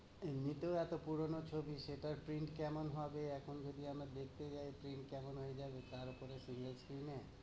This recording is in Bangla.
এমনিতেও এতো পুরোনো ছবি, সেটার print কেমন হবে। এখন যদি আমরা দেখতে যাই print কেমন হয়ে যাবে। তারপরে single screen এ।